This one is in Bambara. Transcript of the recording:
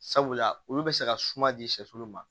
Sabula olu bɛ se ka suma di sɛfu ma